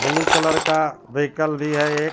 Blue colour का vehicle भी है एक.